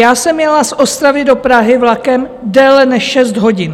Já jsem jela z Ostravy do Prahy vlakem déle než 6 hodin.